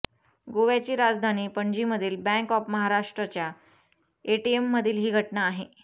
गोव्याची राजधानी पणजीमधील बँक ऑफ महाराष्टच्या एटीएममधील ही घटना आहे